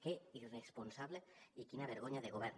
que irresponsable i quina vergonya de govern